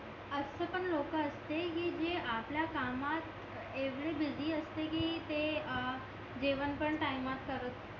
असा पण लोक असते कि जे आपल्या कामत जेवढे बीसी असते कि ते अं जेवण पण टायमात करत